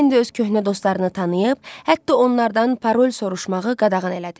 Leni öz köhnə dostlarını tanıyıb, hətta onlardan parol soruşmağı qadağan elədi.